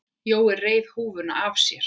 Jói reif húfuna af sér.